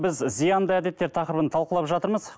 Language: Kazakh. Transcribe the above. біз зиянды әдеттер тақырыбын талқылап жатырмыз